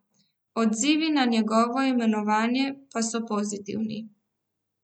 Odzivi na njegovo imenovanje pa so pozitivni.